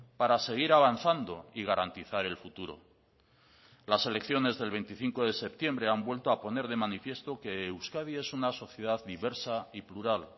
para seguir avanzando y garantizar el futuro las elecciones del veinticinco de septiembre han vuelto a poner de manifiesto que euskadi es una sociedad diversa y plural